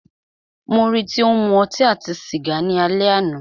Mó rí í tí o ń mú ọtí àti sìgá ni alẹ́ àná.